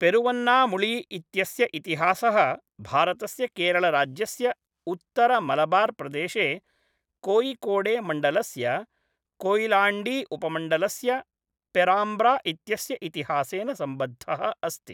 पेरुवन्नामुळी इत्यस्य इतिहासः भारतस्य केरळराज्यस्य उत्तरमलबार्प्रदेशे कोयिकोडेमण्डलस्य कोयिलाण्डीउपमण्डलस्य पेराम्ब्रा इत्यस्य इतिहासेन सम्बद्धः अस्ति।